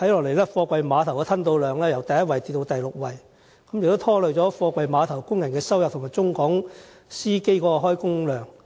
可是，貨櫃碼頭的吞吐量現時已由第一位下跌至第六位，拖累貨櫃碼頭工人的收入，以及中港司機的工作量。